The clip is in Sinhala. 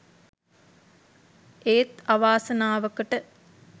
ඒත් අවාසනාවකට